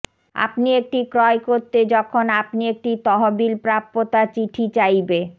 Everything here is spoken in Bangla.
আপনি একটি ক্রয় করতে যখন আপনি একটি তহবিল প্রাপ্যতা চিঠি চাইবে